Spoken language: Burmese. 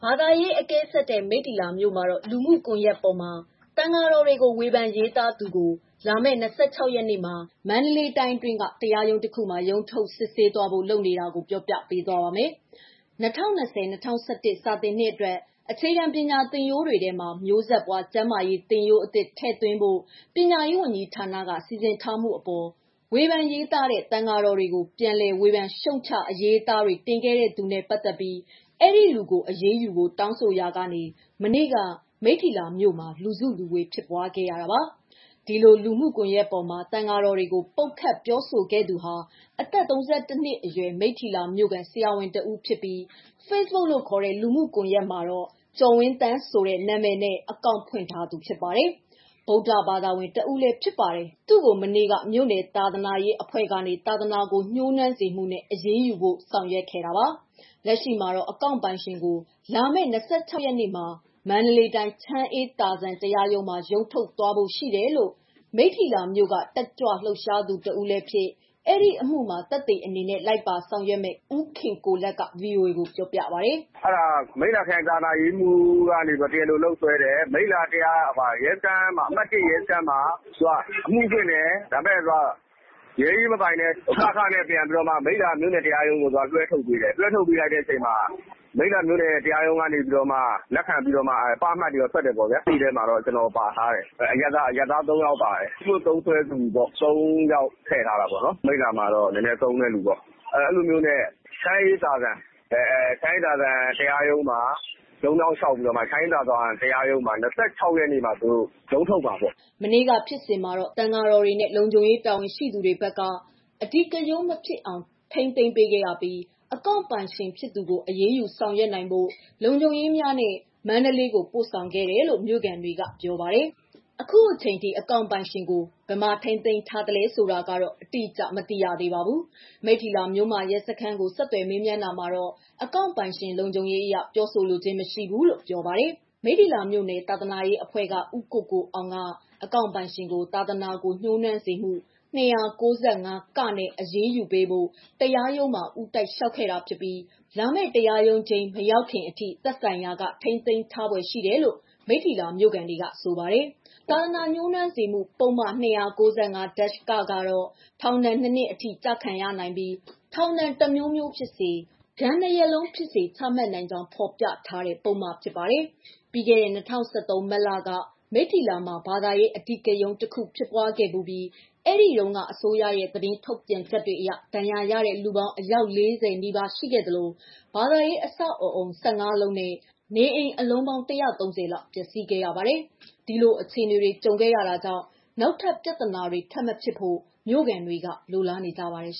ာသာရေးအကဲဆတ်တဲ့ မိတ္တီလာမြို့မှာတော့ လူမှုကွန်ယက်ပေါ်မှာ သံဃာတော်တွေကို ဝေဖန်ရေးသားသူ ကို လာမယ့် ၂၆ရက်နေ့မှာ မန္တလေးတိုင်းတွင်းမှာ ရုံးထုတ်စစ်ဆေးဖို့ လုပ်ထားတာကိုပြောပြပေးပါမယ်။ ဒီအကြောင်း ဗွီအိုအေ မြန်မာပိုင်းသတင်းထောက် မမေခက သတင်းပေးပို့ထားပါတယ်။ ၂၀၂၀- ၂၀၂၁ စာသင်နှစ်အတွက် အခြေခံပညာသင်ရိုးတွေထဲမှာ မျိုးဆက်ပွား ကျန်းမာရေး သင်ရိုးအသစ်ထည့်သွင်းဖို့ ပညာရေးဝန်ကြီးဌာနက စီစဉ်ထားမှုအပေါ် ဝေဖန်ရေးသားတဲ့ သံဃာတော်တွေကို ပြန်လည် ဝေဖန်ရှုတ်ချအရေးအသားတွေ တင်ခဲ့သူနဲ့ ပတ်သက်ပြီး ဒီလူကို အရေးယူဖို့တောင်းဆိုရာ ကနေ မနေ့က မိတ္ထီလာမြို့မှာ လူစုလူ ဝေးဖြစ်ပွားခဲ့ရတာပါ။ ဒီလို လူမှုကွန်ရက်မှာ သံဃာတော်တွေကို ပုတ်ခတ်ပြောဆိုခဲ့သူဟာ အသက် ၃၁ နှစ်အရွယ် မိတ္ထီလာမြို့ခံ ဆရာဝန်တဦးဖြစ်ပြီး Facebook မှာ ကျော်ဝင်းသန့်ဆိုတဲ့ နာမည်နဲ့အကောင့်ဖွင့်ထားသူဖြစ်ပြီး၊ ဗုဒ္ဓဘာသာဝင် တဦးဖြစ်တယ်လို့လည်း ဆိုပါတယ်။ သူ့ကို မနေ့က မြို့နယ် သာသနာရေးအဖွဲ့ကနေ သာသနာကို ညှိုးနွမ်းစေမှုနဲ့ အရေးယူဖို့ ဆောင်ရွက်ခဲ့ပါတယ်။ လက်ရှိမှာ အကောင့်ပိုင်ရှင်ကို လာမယ့် ၂၆ရက်နေ့မှာ မန္တလေးတိုင်း ချမ်းအေးသာဇံတရားရုံးမှာ ရုံးထုတ်သွားဖို့ ရှိတယ်လို့ မိတ္ထီလာမြို့က တက်ကြွလှုပ်ရှားသူ တဦးဖြစ်၊ ဒီအမှုမှာ သက်သေအနေနဲ့ လိုက်ပါဆောင်ရွက်မယ့် ဦးခင်ကိုလတ်က ဗွီအိုအေကို ပြောပါတယ်။ “မိတ္ထီလာခရိုင်သာသနာရေးမှူး ကတရားလိုလုပ်ဆွဲတယ်။ မိတ္ထီလာ အမှတ် ၁ရဲစခန်းမှာ အမှုဖွင့်တယ်။ ရဲအရေးမပိုင်လို့ (က)(ခ)နဲ့ မိတ္ထီလာတရားရုံးကို လွှဲထုတ်ပေးတယ်။ မြို့နယ်တရားရုံးကလက်ခံပြီးတော့မှ (ပ) အမှတ်တွေ ထွက်တယ်။ သက်သေထဲမှာ ကျနော်ပါတယ်။ အရပ်သားအမျိုးသား ၃ယောက်ပါတယ်။ ဖေ့ဘုတ်သုံးသူ ၃ယောက်ထည့်ထားတာပေါ့။ အဲလိုနဲ့ ချမ်းအေးသာဇံ တရားရုံးမှာ ရုံးပြောင်းလျှောက်တယ်။ လာမယ့် ၂၆ရက်နေ့မှာ ရုံးထုတ်မယ်။” မနေ့က ဖြစ်စဉ်မှာ သံဃာတော်တွေနဲ့ လုံခြုံရေးတာဝန်ရှိသူတွေ ဘက်က အဓိကရုဏ်း မဖြစ်အောင် ထိန်းသိမ်းပေးခဲ့ရပြီး အကောင့်ပိုင်ရှင် ဖြစ်သူကို အရေးယူ ဆောင်ရွက်နိုင်ဖို့ လုံခြုံရေးများနဲ့ မန္တလေးကို ပို့ဆောင်ခဲ့တယ်လို့ မြို့ခံတွေက ပြောပါတယ်။ အခုအချိန်အထိ အကောင့်ပိုင်ရှင်ကို ဘယ်မှာထိန်းသိမ်းထားလဲဆိုတာ တိကျစွာမသိရပါဘူး။ မိတ္ထီလာ မြို့မ ရဲစခန်းကို ဆက်သွယ်မေးမြန်းတာမှာတော့ အကောင့်ပိုင်ရှင်လုံခြုံရေးအရ ပြောဆိုလိုခြင်းမရှိဘူးလို့ပြောပါတယ်။ မိတ္ထီလာမြို့နယ် သာသနာရေးအဖွဲ့က ဦးကိုကိုအောင်က အကောင့်ပိုင်ရှင်ကို သာသနာကို ညှိုးနွမ်းစေမှု ၂၉၅-ကနဲ့ အရေးယူပေးဖို့ တရားရုံးမှာ ဦးတိုက်လျှောက် ခဲ့တာဖြစ်ပြီး လာမယ့် တရားရုံးချိန်း မရောက်ခင် အထိ သက်ဆိုင်ရာက ထိန်းသိမ်းထားဖွယ်ရှိတယ်လို့ မိတီလာမြို့ခံတွေကဆိုပါတယ်။ သာသနာညှိုးနွမ်းစေမှု ပုဒ်မ ၂၉၅ (က) ကတော့ ထောင်ဒဏ် ၂ နှစ်အထိ ကျခံနိုင်ပြီး ထောင်ဒဏ် တစ်မျိုးမျိုးဖြစ်စေ၊ ငွေဒဏ်ဖြစ်စေ ဒဏ်နှစ် ရပ်လုံးဖြစ်စေ ချမှတ်နိုင်ကြောင်းဖော်ပြထားပြီး အာမခံမပေးတဲ့ ပုဒ်မဖြစ်ပါတယ်။ ပြီးခဲ့တဲ့၂၀၁၃ မတ်လက မိတ္ထီလာမှာ ဘာသာရေးအဓိကရုဏ်း တခု ဖြစ်ပွားခဲ့ဖူးပြီး အဲဒီတုန်းက အစိုးရရဲ့ သတင်းထုတ်ပြန်ချက်တွေအရ ဒဏ်ရာရတဲ့ လူပေါင်း အယောက် ၄၀ နီးပါးရှိခဲ့သလို ဘာသာရေး အဆောက်အအုံ ၁၅ လုံးနီးပါးနဲ့ နေအိမ်အလုံးပေါင်း ၁၃၀ လောက် ပျက်စီးခဲ့ရပါတယ်။ ဒီလို အခြေအနေတွေ ကြုံခဲ့တာကြောင့် နောက် ထပ်ပြဿနာတွေ ထပ်မဖြစ်ဖို့ မြို့ခံတွေက လိုလားနေကြပါတယ် ။